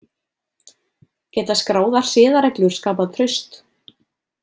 Geta skráðar siðareglur skapað traust?